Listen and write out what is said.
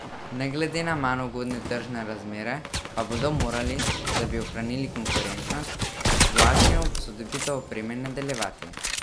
Ne glede na manj ugodne tržne razmere pa bodo morali, da bi ohranili konkurenčnost, z vlaganjem v posodobitev opreme nadaljevati.